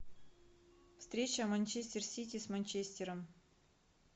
встреча манчестер сити с манчестером